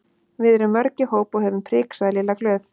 Við erum mörg í hóp og höfum prik sagði Lilla glöð.